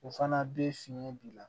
O fana bɛ fiɲɛ bila